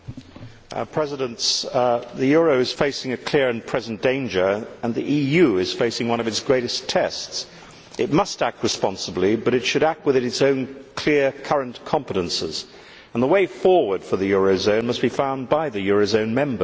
Mr President, the euro is facing a clear and present danger and the EU is facing one of its greatest tests. It must act responsibly but it should act within its own clear, current competences and the way forward for the eurozone must be found by the eurozone members.